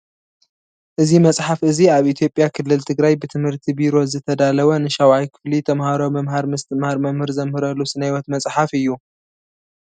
እዚ መፅሓፍ እዚ ኣብ ኢትዮጵያ ክልል ትግራይ ብትምህርቲ ቢሮ ዝተዳለወ ንሻውዓይ ክፍሊ ተማሃሮ ምምሃር ምስትምሃር መምህር ዘምህረሉ ስነህይወት መፅሓፍ እዩ።